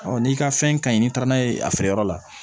n'i ka fɛn ka ɲi n'i taara n'a ye a feereyɔrɔ la